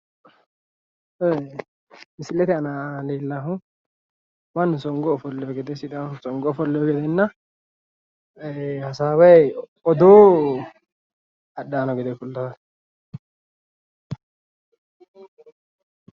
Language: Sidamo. Misile aana leelahu mannu songo ofolleewo gedena sidaamu songo ofolleewo gedenna hasaaway odoo adhay noha lawe leellaa